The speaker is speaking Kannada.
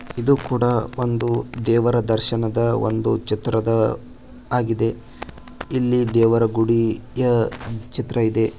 ಇದು ಕೂಡ ಒಂದು ದೇವರ ದರ್ಶನದ ಒಂದು ಚಿತ್ರದ ಆಗಿದೆ ಇಲ್ಲಿ ದೇವರ ಗುಡಿಯ ಚಿತ್ರ ಇದೆ.